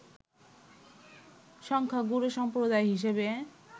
সংখ্যাগুরু সম্প্রদায় হিসেবে